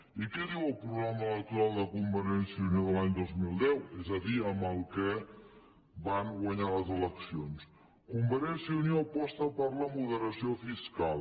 i què diu el programa electoral de convergència i unió de l’any dos mil deu és a dir amb el que van guanyar les eleccions convergència i unió aposta per la moderació fiscal